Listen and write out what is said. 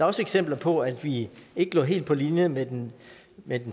også eksempler på at vi ikke lå helt på linje med den